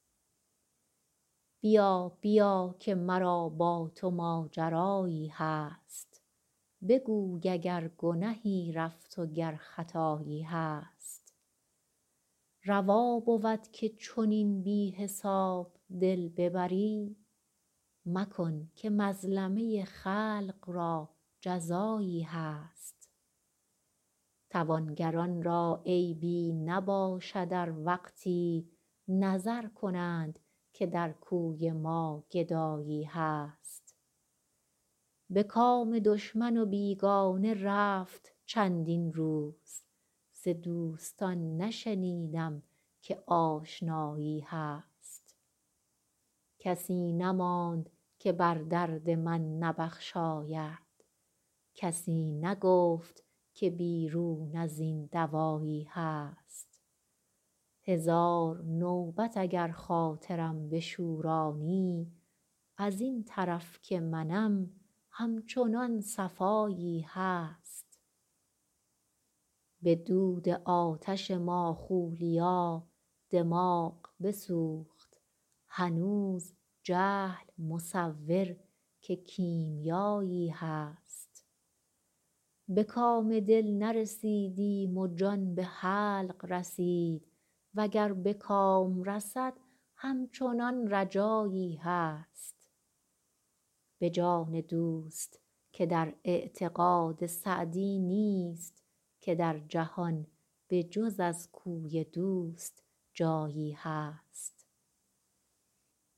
بیا بیا که مرا با تو ماجرایی هست بگوی اگر گنهی رفت و گر خطایی هست روا بود که چنین بی حساب دل ببری مکن که مظلمه خلق را جزایی هست توانگران را عیبی نباشد ار وقتی نظر کنند که در کوی ما گدایی هست به کام دشمن و بیگانه رفت چندین روز ز دوستان نشنیدم که آشنایی هست کسی نماند که بر درد من نبخشاید کسی نگفت که بیرون از این دوایی هست هزار نوبت اگر خاطرم بشورانی از این طرف که منم همچنان صفایی هست به دود آتش ماخولیا دماغ بسوخت هنوز جهل مصور که کیمیایی هست به کام دل نرسیدیم و جان به حلق رسید و گر به کام رسد همچنان رجایی هست به جان دوست که در اعتقاد سعدی نیست که در جهان به جز از کوی دوست جایی هست